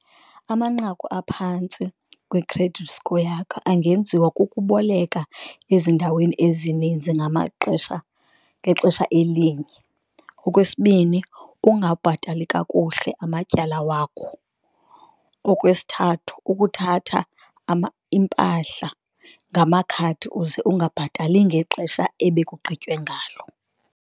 Amanqaku aphantsi kwi-credit score yakho angenziwa kokuboleka ezindaweni ezininzi ngamaxesha ngexesha elinye. Okwesibini, ukungabhatali kakuhle amatyala wakho, okwesithathu ukuthatha iimpahla ngamakhadi uze ungabhatali ngexesha ebekugqitywe ngalo.